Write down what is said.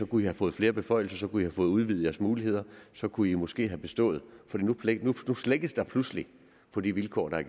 kunne i have fået flere beføjelser i have fået udvidet jeres muligheder og så kunne i måske have bestået for nu slækkes der pludselig på de vilkår der